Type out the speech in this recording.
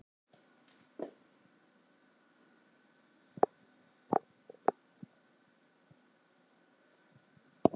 Bæði lyf og næringarefni geta haft truflandi áhrif á öryggi getnaðarvarnarpilla.